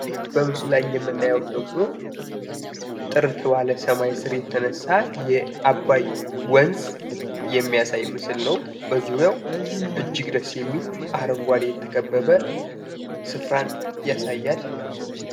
ይህ በምስሉ ላይ የምናየው ደግሞ ጥርት ባለ ሰማይ ስር የተነሳ የአባይ ወንዝ የሚያሳይ ምስል ነው። በዙሪያው እጅግ ደስ የሚል በአረንጓዴ የተከበበ ስፍራን ያሳያል።